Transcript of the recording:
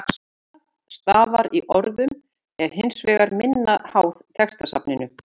Óreiða stafa í orðum er hins vegar minna háð textasafninu.